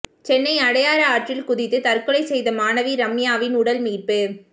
சென்னை அடையாறு ஆற்றில் குதித்து தற்கொலை செய்த மாணவி ரம்யாவின் உடல் மீட்பு